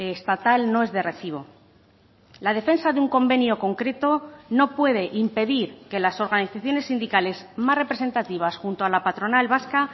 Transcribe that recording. estatal no es de recibo la defensa de un convenio concreto no puede impedir que las organizaciones sindicales más representativas junto a la patronal vasca